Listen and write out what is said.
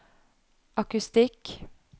akustikk